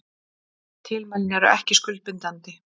Tilmælin eru ekki skuldbindandi